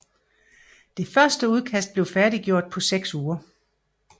Det første udkast blev færdiggjort på seks uger